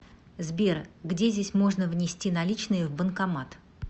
сбер где здесь можно внести наличные в банкомат